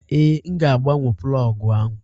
Ee, m ga-agbanwe plọg ahụ.